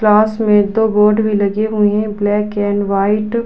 Class में दो board भी लगे हुए है। Black and white --